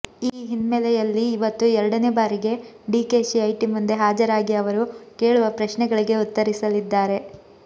ಈ ಹಿನ್ಮೆಲೆಯಲ್ಲಿ ಇವತ್ತು ಎರಡನೇ ಬಾರಿಗೆ ಡಿಕೆಶಿ ಐಟಿ ಮುಂದೆ ಹಾಜರಾಗಿ ಅವರು ಕೇಳುವ ಪ್ರಶ್ನೆಗಳಿಗೆ ಉತ್ತರಿಸಲಿದ್ದಾರೆ